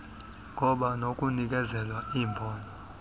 ngoba nokunikezela imbono